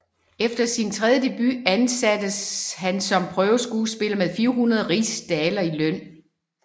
Efter sin tredje debut ansattes han som prøveskuespiller med 400 rigsdaler i løn